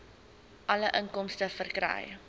alle inkomste verkry